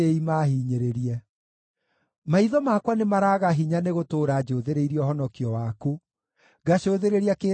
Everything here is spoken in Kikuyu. Maitho makwa nĩmaraaga hinya nĩgũtũũra njũũthĩrĩirie ũhonokio waku, ngacũthĩrĩria kĩĩranĩro gĩaku kĩa ũthingu.